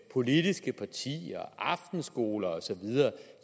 politiske partier aftenskoler og så videre